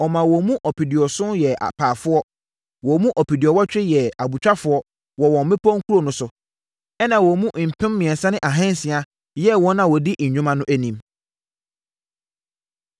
Ɔmaa wɔn mu ɔpeduɔson (70,000) yɛɛ apaafoɔ. Wɔn mu ɔpeduɔwɔtwe (80,000) yɛɛ abotwafoɔ wɔ wɔn mmepɔ nkuro no so, ɛnna wɔn mu mpem mmiɛnsa ne ahansia (3,600) yɛɛ wɔn a wɔdi nnwuma no anim.